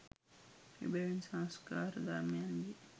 එබැවින් සංස්කාර ධර්මයන්ගේ